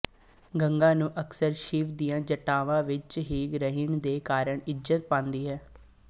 ਗੰਗਾ ਨੂੰ ਅਕਸਰ ਸ਼ਿਵ ਦੀਆਂਜਟਾਵਾਂਵਿੱਚ ਰਹਿਣ ਦੇ ਕਾਰਨ ਵੀ ਇੱਜ਼ਤ ਪਾਂਦੀ ਹੈ